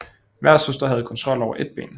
Hver søster havde kontrol over et ben